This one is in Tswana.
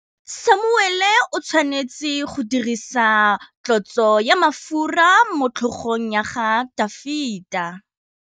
Samuele o tshwanetse go dirisa tlotsô ya mafura motlhôgong ya Dafita.